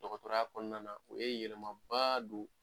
Dɔgɔtɔrɔya kɔɔna na o ye yɛlɛmabaa don